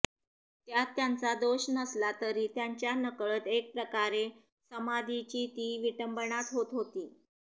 त्यात त्यांचा दोष नसला तरी त्यांच्या नकळत एक प्रकारे समाधीची ती विटंबनाच होत होती